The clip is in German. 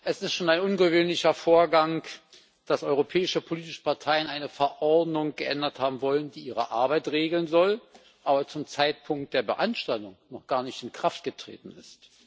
Es ist schon ein ungewöhnlicher Vorgang, dass europäische politische Parteien eine Verordnung geändert haben wollen, die ihre Arbeit regeln soll, aber zum Zeitpunkt der Beanstandung noch gar nicht in Kraft getreten ist.